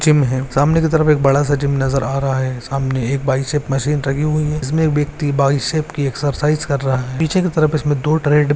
Gym है सामने की तरफ एक बड़ा सा जिम नजर आ रहा है सामने बाइसेप्स मशीन रखी हुई है जिसमे एक ब्यक्ति बाइसेप्स की एक्सरसाइज कर रहा है। पीछे के तरफ इसमे दो ट्रेड --